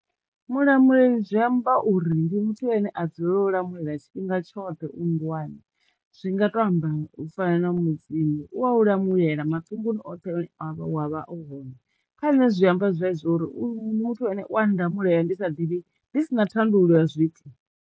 Mulamuleli zwi amba uri ndi muthu ane a dzulele u lamulela tshifhinga tshoṱhe nndwani zwi nga to amba u fana na mudzimu u wau lamulela maṱunguni oṱhe ane wa vha uhone, kha nṋe zwi amba zwezwo uri u muthu ane u wa nda mulayo ndi sa ḓivhi ndi sina thandululo ya zwithu.